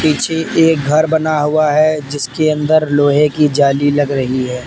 पीछे एक घर बना हुआ है जिसके अंदर लोहे की जाली लग रही है।